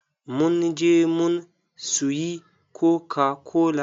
mun je mun suyi kokakola.